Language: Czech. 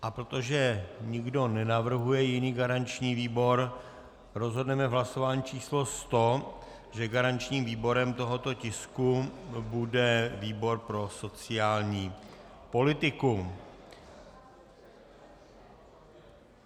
A protože nikdo nenavrhuje jiný garanční výbor, rozhodneme v hlasování číslo 100, že garančním výborem tohoto tisku bude výbor pro sociální politiku.